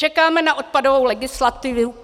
Čekáme na odpadovou legislativu.